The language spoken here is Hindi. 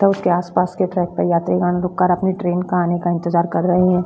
तथा उसके आस-पास के ट्रैक पे यात्रीगण रुक कर अपने ट्रेन के आने का इंतजार कर रहे हैं।